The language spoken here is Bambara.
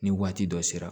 Ni waati dɔ sera